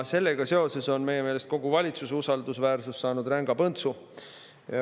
Sellega seoses on meie meelest kogu valitsuse usaldusväärsus saanud ränga põntsu.